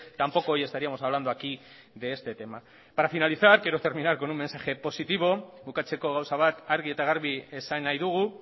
tampoco hoy estaríamos hablando aquí de este tema para finalizar quiero terminar con un mensaje positivo bukatzeko gauza bat argi eta garbi esan nahi dugu